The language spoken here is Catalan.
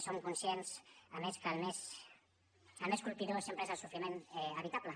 som conscients a més que el més colpidor sempre és el sofriment evitable